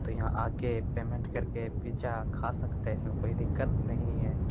तो यहाँ आके पेमेन्ट कर के पिज्जा खा सकते हैं इसमें कोई दिक्कत नहीं है।